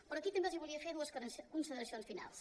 però aquí també els volia fer dues consideracions finals